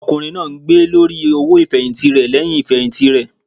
Ọkùnrin náà ń gbé lórí owó ifẹhinti rẹ lẹhìn ifẹhinti rẹ.